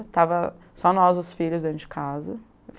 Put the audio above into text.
Estavam só nós, os filhos, dentro de casa.